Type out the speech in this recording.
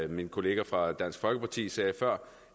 min kollega fra dansk folkeparti sagde før